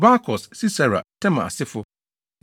Barkos, Sisera, Tema asefo 1